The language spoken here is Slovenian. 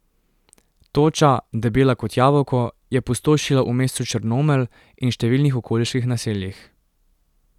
Toča, debela kot jabolko, je pustošila v mestu Črnomelj in številnih okoliških naseljih.